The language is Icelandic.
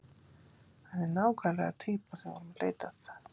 Hann er nákvæmlega týpan sem við vorum að leita að.